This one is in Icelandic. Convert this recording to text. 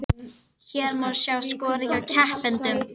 Hér má sjá skorið hjá keppendum